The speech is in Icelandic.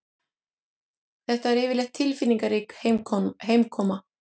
Þetta er yfirleitt tilfinningarík heimkoma